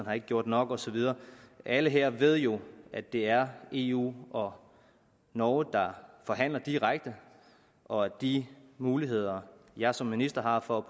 har gjort nok og så videre alle her ved jo at det er eu og norge der forhandler direkte og at de muligheder jeg som minister har for at